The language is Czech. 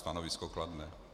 Stanovisko kladné.